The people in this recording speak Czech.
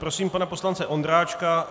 Prosím pana poslance Ondráčka.